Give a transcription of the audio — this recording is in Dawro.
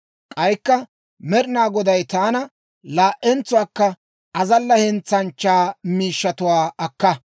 K'aykka Med'inaa Goday taana, «Laa"entsuwaakka azalla hentsanchchaa miishshatuwaa akka.